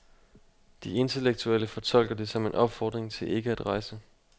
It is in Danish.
De intellektuelle fortolker det som en opfordring til ikke at rejse.